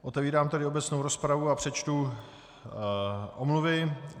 Otevírám tedy obecnou rozpravu a přečtu omluvy.